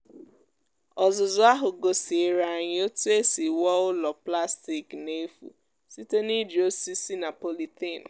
ọzụzụ ahụ gosiere anyị otu esi wuo ụlọ plastik n’efu site n’iji osisi na polythene.